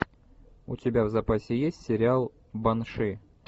у тебя в запасе есть сериал банши